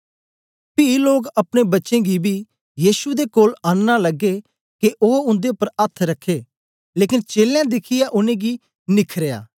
पी लोक अपने बच्चें गी बी यीशु दे कोल आननां लगे के ओ उन्दे उपर अथ्थ रखै लेकन चेलें दिखियै उनेंगी निखरयां